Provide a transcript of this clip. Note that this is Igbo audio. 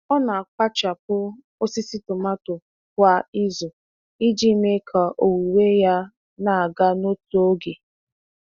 Ọ na-akpachapụ osisi tomato kwa izu iji mee ka owuwe ya na-aga n'otu oge.